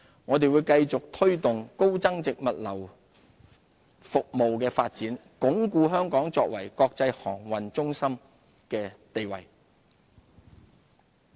我們會繼續推動高增值物流服務的發展，鞏固香港作為國際航運中心的地位。